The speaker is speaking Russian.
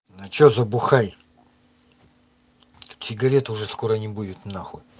а что за бухай тут сигарет уже скоро не будет нахуй